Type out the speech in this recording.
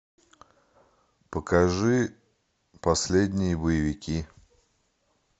покажи последние боевики